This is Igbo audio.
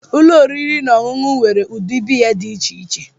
Ụlọ oriri na ọṅụṅụ nwere ụdị biya dị iche iche.